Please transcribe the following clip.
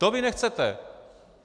To vy nechcete!